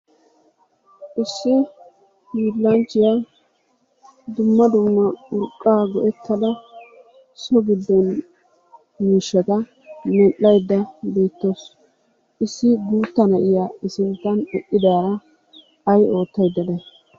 Issi hiilanchchiyaa dumma dumma urqqa go'ettada so giddo miishshata medhdhayda beettawussu. Issi guutta na'iyaa i sinttan uttidaara ay oottayda day?